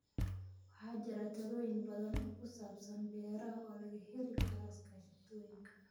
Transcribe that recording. Waxaa jira talooyin badan oo ku saabsan beeraha oo laga heli karo iskaashatooyinka.